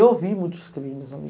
E eu vi muitos crimes ali.